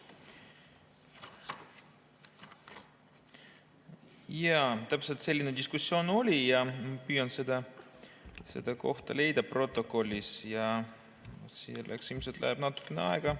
Jaa, täpselt selline diskussioon oli ja ma püüan seda kohta leida protokollist, ilmselt läheb natukene aega.